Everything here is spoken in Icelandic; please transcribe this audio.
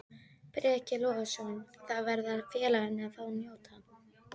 Breki Logason: Þá verða félagarnir að fá að njóta?